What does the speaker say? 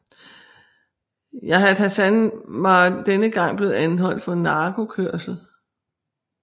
Yahya Hassan var denne gang blevet anholdt for narkokørsel